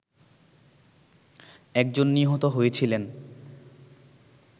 একজন নিহত হয়েছিলেন